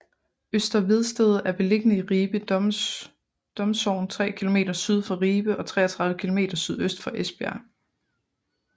Øster Vedsted er beliggende i Ribe Domsogn tre kilometer syd for Ribe og 33 kilometer sydøst for Esbjerg